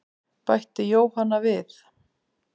Bætti Jóhanna við.